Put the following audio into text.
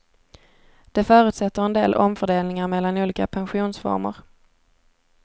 Det förutsätter en del omfördelningar mellan olika pensionsformer.